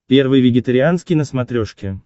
первый вегетарианский на смотрешке